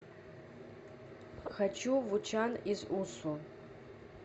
хочу в учан из усу